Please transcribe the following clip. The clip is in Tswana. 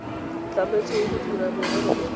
tlametsweng go dira merero e